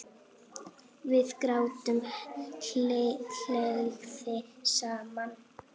Við gátum hlegið saman.